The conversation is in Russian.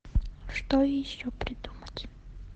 что еще придумать